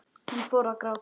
Hún fór að gráta.